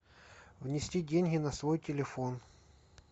внести деньги на свой телефон